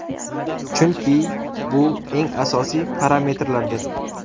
Chunki bu eng asosiy parametrlardir.